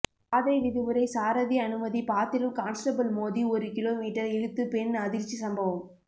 பாதை விதிமுறை சாரதி அனுமதி பத்திரம் கான்ஸ்டபிள் மோதி ஒரு கிலோ மீற்றர் இழுத்து பெண் அதிர்ச்சி சம்பவம்